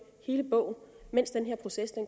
hele bogen mens den her proces